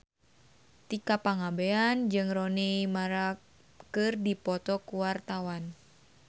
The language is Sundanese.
Tika Pangabean jeung Rooney Mara keur dipoto ku wartawan